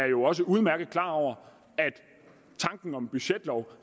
jo også udmærket er klar over er tanken om en budgetlov